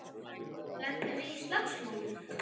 Lentum við í slagsmálum?